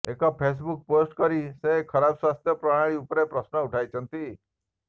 ଏକ Facebook post କରି ସେ ଖରାପ ସ୍ୱାସ୍ଥ୍ୟ ପ୍ରଣାଳୀ ଉପରେ ପ୍ରଶ୍ନ ଉଠାଇଛନ୍ତି